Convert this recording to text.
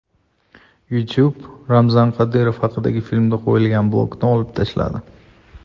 YouTube Ramzan Qodirov haqidagi filmga qo‘yilgan blokni olib tashladi.